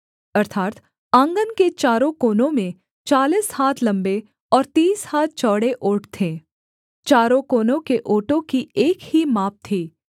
अर्थात् आँगन के चारों कोनों में चालीस हाथ लम्बे और तीस हाथ चौड़े ओट थे चारों कोनों के ओटों की एक ही माप थी